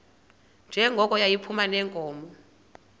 njengoko yayiphuma neenkomo